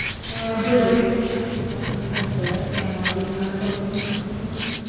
Biz uchun shaxsiy sovrindan ko‘ra, jamoaviy g‘alaba muhimroq.